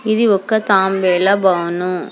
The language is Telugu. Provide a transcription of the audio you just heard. ఇది ఒక తాంబేల భాను.